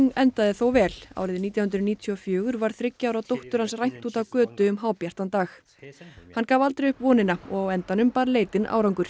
endaði þó vel árið nítján hundruð níutíu og fjögur var þriggja ára dóttur hans rænt úti á götu um hábjartan dag hann gaf aldrei upp vonina og á endanum bar leitin árangur